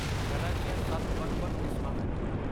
ਕਲਾ ਦੀਆਂ ਸੱਤ ਵੱਖ ਵੱਖ ਕਿਸਮਾਂ ਹਨ